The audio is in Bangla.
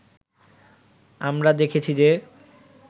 আমরা দেখেছি যে